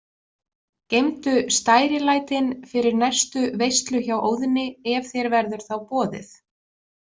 Geymdu stærilætin fyrir næstu veislu hjá Óðni, ef þér verður þá boðið.